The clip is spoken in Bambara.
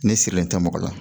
Ne sirilen tɛ mɔgɔ la